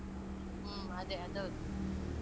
ಹ್ಮ್ ಅದೇ ಅದ್ಹೌದು